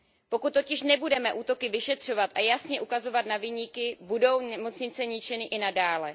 Pokud totiž nebudeme útoky vyšetřovat a jasně ukazovat na viníky, budou nemocnice ničeny i nadále.